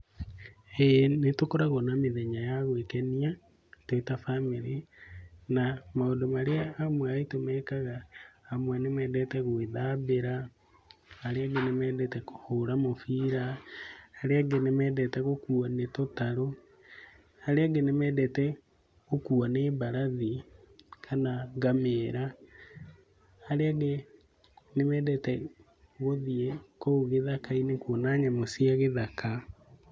Ĩĩ nĩtũkoragwo na mĩthenya ya gwĩkenia twĩ ta bamĩrĩ. Na maũndũ marĩa andũ amwe aitũ mekaga. Amwe nĩmedete gũĩthambĩra, arĩa angĩ nĩmendete kũhũra mũbira, arĩa angĩ nĩmendete gũkuũ nĩ tũtaru, arĩa angĩ nĩmendete gũkuo nĩ mbarathi kana ngamĩra, arĩa angĩ nĩmendete gũthiĩ kũu gĩthaka-inĩ kuona nyamũ cia gĩthaka.